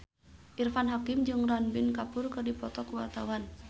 Irfan Hakim jeung Ranbir Kapoor keur dipoto ku wartawan